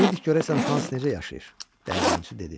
Deyirdik görəsən Hans necə yaşayır, dəyirmançı dedi.